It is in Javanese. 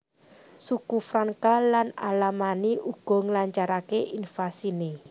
Suku Franka lan Alamanni uga nglancaraké invasiné